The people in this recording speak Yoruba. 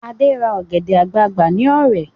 Ade ra ọ̀gẹ̀dẹ̀ àgbagbà ní Ọ̀rẹ̀